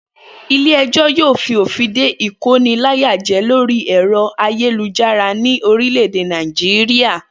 Ilé e̩jò̩ yóò fi òfìn de ìkóniláyàjé̩ lórí è̩ro̩ ayélujára ní orílè̩-èdè Nàìjíríà